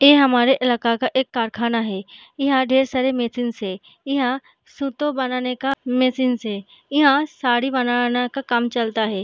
ए हमारे इलाके का एक कारखाना है | यहाँ ढेर सारे मशीनस है | यहाँ सुतो बनाने का मशीनस है | यहाँ साड़ी बनाने का काम चलता है।